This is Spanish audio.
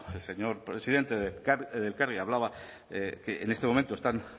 el señor presidente de elkargi hablaba que en este momento están